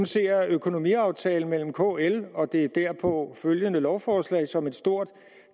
ser økonomiaftalen med kl og det derpå følgende lovforslag som et stort